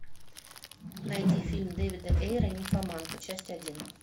найди фильм дэвида эйра нимфоманка часть один